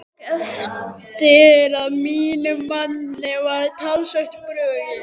Ég tók eftir að mínum manni var talsvert brugðið.